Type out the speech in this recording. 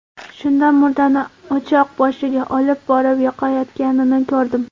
Shunda murdani o‘choq boshiga olib borib yoqayotganini ko‘rdim.